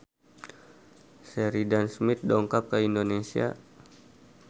Sheridan Smith dongkap ka Indonesia